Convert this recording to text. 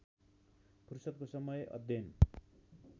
फुर्सदको समय अध्ययन